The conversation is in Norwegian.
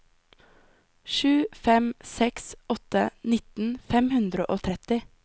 sju fem seks åtte nitten fem hundre og tretti